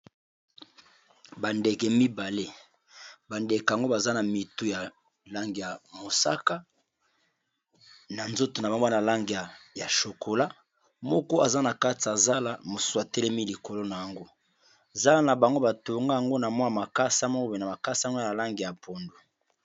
Bandeke mibale, bandeke yango baza na mitu ya lange ya mosaka, na nzoto na bango baza na lange ya chokola, moko aza na kati ya zala, mosusu a telemi likolo na yango, zala na bango batonga yango na mwa makasa moko boye, makasa yango eza na lange ya pondu.